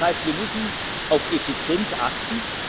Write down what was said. ab. Das heißt, wir müssen auf Effizienz achten.